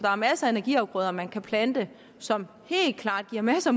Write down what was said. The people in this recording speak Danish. er masser af energiafgrøder man kan plante som helt klart giver masser